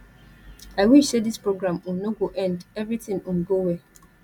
i wish say dis program um no go end everything um go well.